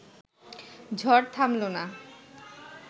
ঝড় থামল না